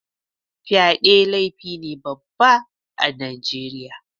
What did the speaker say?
Fyaɗe laifi ne Baba ah Nijeriya.